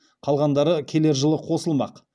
қалғандары келер жылы қосылмақ